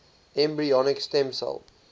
embryonic stem cell